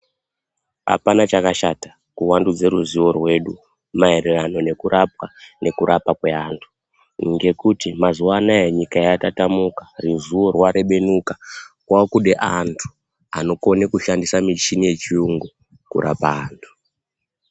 Apana chakashata kuvandudze ruzivo rwedu maererano nekurapwa nekurapa kweantu. Ngekuti mazuva anaya nyika yatatamuka, ruzivo rwarebenuka rwaakude antu anokone kushandise michini yechiyungu kurapa antu